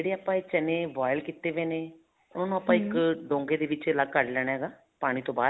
ਜਿਹੜੇ ਆਪਾਂ ਇਹ ਚਨੇ boil ਕੀਤੇ ਗਏ ਨੇ ਉਹਨਾ ਨੂੰ ਆਪਾਂ ਢੋਗੇ ਦੇ ਵਿੱਚ ਅਲੱਗ ਕੱਢ ਲੈਣਾ ਹੈਗਾ ਪਾਣੀ ਤੋਂ ਬਹਾਰ